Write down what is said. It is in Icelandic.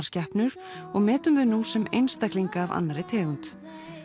skepnur og metum þau nú sem einstaklinga af annarri tegund